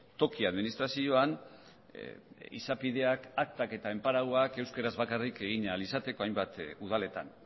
toki administrazioan izapideak aktak eta enparauak euskaraz bakarrik egin ahal izateko hainbat udaletan